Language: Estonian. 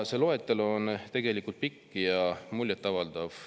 See loetelu on pikk ja muljetavaldav.